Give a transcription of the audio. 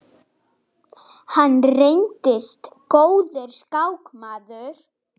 Hann reyndist góður skákmaður.